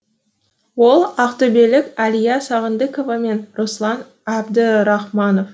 ол ақтөбелік әлия сағындықова мен руслан әбдірахманов